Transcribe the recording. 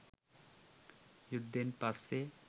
යුද්ධෙන් පස්සේ